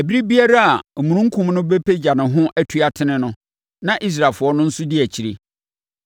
Ɛberɛ biara a omununkum no bɛpagya ne ho atu atene no, na Israelfoɔ no nso di akyire.